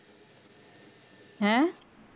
ਹੈਂ